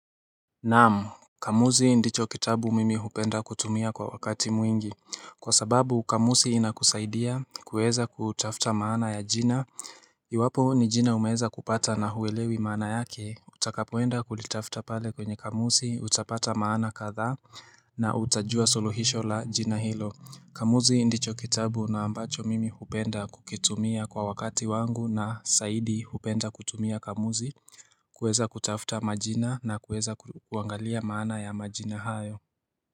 Naamu Kamusi ndicho kitabu mimi hupenda kutumia kwa wakati mwingi Kwa sababu kamusi inakusaidia kuweza kutafuta maana ya jina Iwapo ni jina umeweza kupata na huwelewi maana yake Utakapoenda kulitafta pale kwenye kamusi utapata maana kadha na utajua soluhisho la jina hilo Kamusi ndicho kitabu na ambacho mimi hupenda kukitumia kwa wakati wangu na saidi hupenda kutumia kamusi kuweza kutafuta majina na kuweza kuangalia maana ya majina hayo.